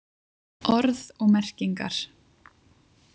Orð og merkingar.